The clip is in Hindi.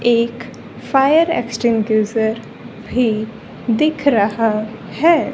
एक फायर एक्सटिंग्विशर भी दिख रहा है।